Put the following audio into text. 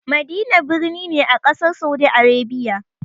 Madina birni ne a ƙasar Saudi Arabia.